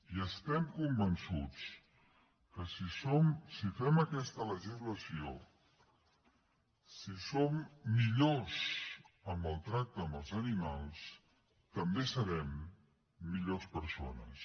i estem convençuts que si fem aquesta legislació si som millors en el tracte amb els animals també serem millors persones